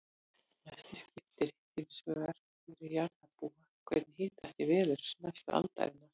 Mestu skiptir hins vegar fyrir jarðarbúa hvernig hitastig verður næstu aldirnar.